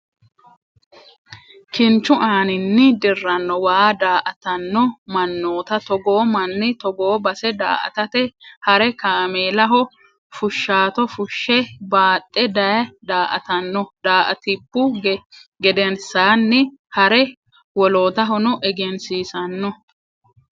Kinichu aaninni dirano waa da'atano ma'nootta togoo mani togoo base da'atate hare kaamellaho fu'shaato fu'she baaxe daye da'atanno, da'atibu gedensaanni hare wolotahonno eggensisano